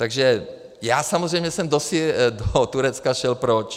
Takže já samozřejmě jsem do Turecka šel proč?